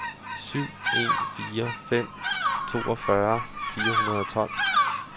syv en fire fem toogfyrre fire hundrede og tolv